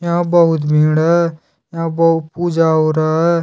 यहां बहुत भीड़ हैं यहां बहुत पूजा हो रहा हैं।